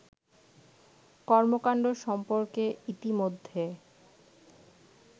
কর্মকাণ্ড সম্পর্কে ইতিমধ্যে